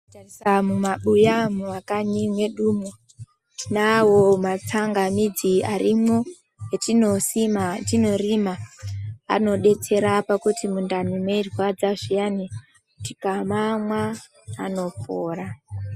Tika tarisa mu mabuya mu makanyi mwedumwo tinawo ma tsangamidzi arimwo etino sima etino rima anodetsera pakuti mundani mei rwadza zviyani tika mamwa anopora.